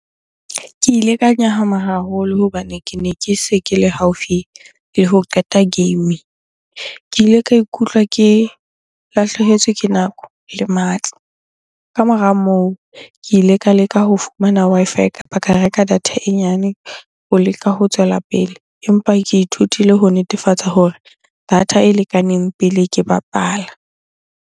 Ke ile ka nyahama haholo hobane kene ke se ke le haufi le ho qeta game. Ke ile ka ikutlwa ke lahlehetswe ke nako le matla. Ka mora moo, ke ile ka leka ho fumana Wi-Fi kapa ka reka data e nyane ho leka ho tswela pele. Empa ke ithutile ho netefatsa hore data e lekaneng pele ke bapala.